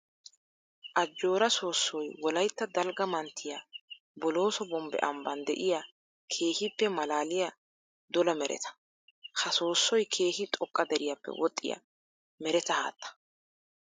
Ajjora soossoy wolaytta dalgga manttiya bolooso bombbe ambban de'iya keehippe malaaliya dolla meretta. Ha soossoy keehi xoqqa deriyappe woxxiya meretta haatta.